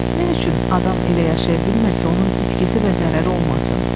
Nə üçün adam elə yaşaya bilmir ki, onun itkisi və zərəri olmasın?